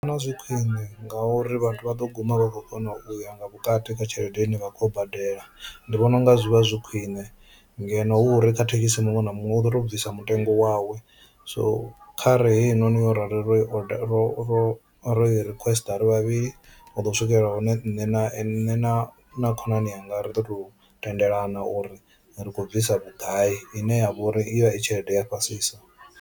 Ndi vhona zwi khwine ngauri vhathu vha ḓo guma vha khou kona uya nga vhukati kha tshelede ine vha khou badela ndi vhona unga zwi vha zwi khwine ngeno hu uri kha thekhisi muṅwe na muṅwe u ḓo to bvisa mutengo wawe, so kha re heinoni ro Ii oder ro i requester ri vhavhili u hu ḓo swikelela hune nṋe na nṋe na khonani yanga ri ḓo tou tendelana uri ri khou bvisa vhugai ine ya vha uri ivha i tshelede ya fhasisa.